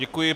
Děkuji.